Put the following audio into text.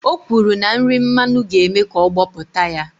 O kwuru na nri mmanu ga-eme ka ọ gbọpụta ya